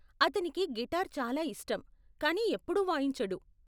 అతనికి గిటార్ చాలా ఇష్టం కానీ ఎప్పుడూ వాయించడు.